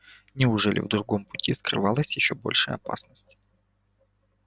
неужели в другом пути скрывалась ещё большая опасность